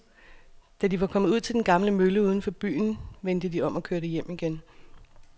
Da de var kommet ud til den gamle mølle uden for byen, vendte de om og kørte hjem igen.